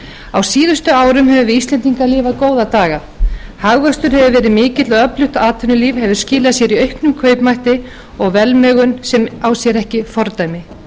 á síðustu árum höfum við íslendingar lifað góða daga hagvöxtur hefur verið mikill og öflugt atvinnulíf hefur skilað sér í auknum kaupmætti og velmegun sem á sér ekki fordæmi